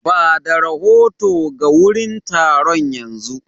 Ba da rahoto ga wurin taron yanzu.